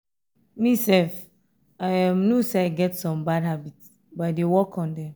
me sef i um know say i get some bad habit but i dey work on dem